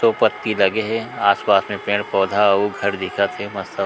सो पत्ती लगे हे आस-पास मे पेड़-पौधा अउ घर दिखत हे।